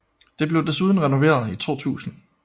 Det blev desuden renoveret i 2000